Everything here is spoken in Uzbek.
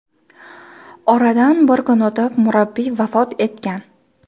Oradan bir kun o‘tib, murabbiy vafot etgan.